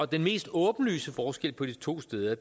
den mest åbenlyse forskel på de to steder